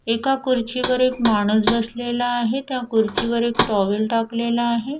एका कुर्चीवर एक माणूस बसलेला आहे त्या कुर्चीवर एक टॉवेल टाकलेला आहे.